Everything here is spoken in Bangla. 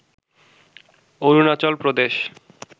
অরুণাচল প্রদেশ